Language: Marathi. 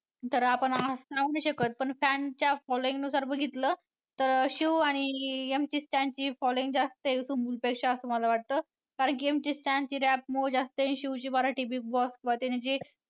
तर आपण असं राहू नाही शकत पण fan च्या following नुसार बघितलं तर शिव आणि MC Stan ची following जास्त आहे सुम्बूलपेक्षा असं मला वाटतं कारण की MC Stan ची rap मुळे जास्त आहे. शिवची मराठी Big Boss मध्ये त्यानं जी